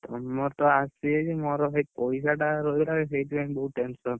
ମୋର ତ ଆସିନି ମୋର ଭାଇ ପଇସା ଟା ରହିଲା ସେଇଥିପାଇଁ ବହୁତ tension ।